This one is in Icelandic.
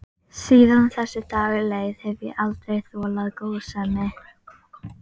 Síðan þessi dagur leið hef ég aldrei þolað góðsemi.